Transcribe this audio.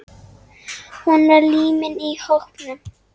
Hún var límið í hópnum.